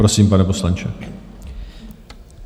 Prosím, pane poslanče.